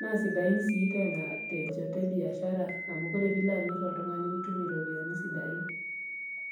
naa sidain siii tena te njoto e biashara amu kore piilo amir oltung'ani nitum iropiani sidain.